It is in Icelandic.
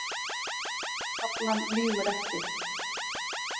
Taflan lýgur ekki